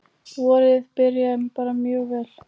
Vorið byrjaði bara mjög vel.